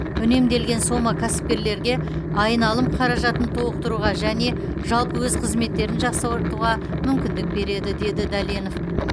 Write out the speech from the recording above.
үнемделген сома кәсіпкерлерге айналым қаражатын толықтыруға және жалпы өз қызметтерін жақсартуға мүмкіндік береді деді дәленов